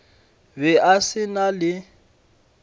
be a se na le